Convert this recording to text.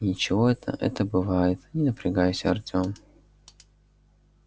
ничего это это бывает не напрягайся артём